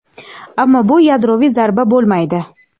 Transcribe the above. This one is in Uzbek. ammo bu yadroviy zarba bo‘lmaydi.